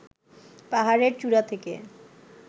পাহাড়ের চূড়া থেকে